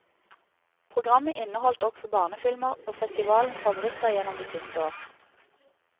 Programmet inneholdt også barnefilmer, og festivalenes favoritter gjennom de siste år.